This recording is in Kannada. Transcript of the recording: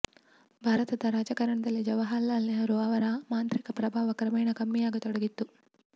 ಭಾರತದ ರಾಜಕಾರಣದಲ್ಲಿ ಜವಾಹರಲಾಲ್ ನೆಹರೂ ಅವರ ಮಾಂತ್ರಿಕ ಪ್ರಭಾವ ಕ್ರಮೇಣ ಕಮ್ಮಿಯಾಗತೊಡಗಿತ್ತು